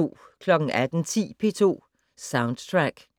18:10: P2 Soundtrack